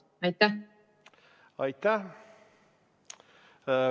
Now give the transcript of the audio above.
Aitäh!